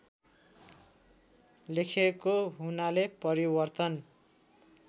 लेखेको हुनाले परिवर्तन